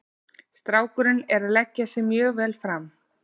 Strákurinn er að leggja sig mjög vel fram.